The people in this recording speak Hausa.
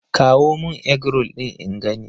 Kawo mun Eggroll ɗin in gani!